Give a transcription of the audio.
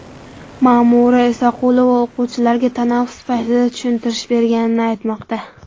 Ma’mura Isaqulova o‘quvchilarga tanaffus paytida tushuntirish berganini aytmoqda.